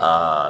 Aa